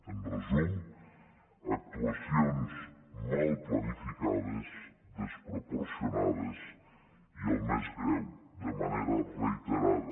en resum actuacions mal planificades desproporcionades i el més greu de manera reiterada